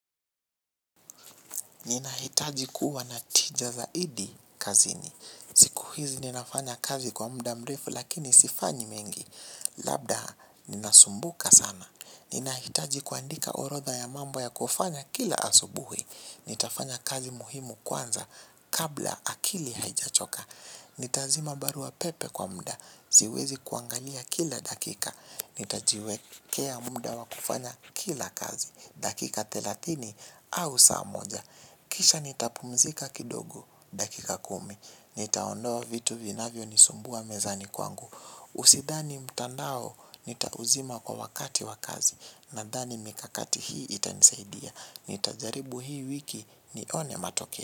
Ninahitaji kuwa na tija zaidi kazini. Siku hizi ninafanya kazi kwa mda mrefu lakini sifanyi mengi. Labda ninasumbuka sana. Ninahitaji kuandika orodha ya mambo ya kufanya kila asubuhi. Nitafanya kazi muhimu kwanza kabla akili haijachoka. Nitazima barua pepe kwa mda siwezi kuangalia kila dakika. Nitajiwekea mda wakufanya kila kazi dakika thelathini au saa moja. Kisha nitapumzika kidogo dakika kumi. Nitaondoa vitu vinavyonisumbua mezani kwangu Usidhani mtandao nitauzima kwa wakati wa kazi. Nadhani mikakati hii itanisaidia. Nitajaribu hii wiki nione matoke.